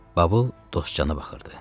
Babıl Dostcana baxırdı.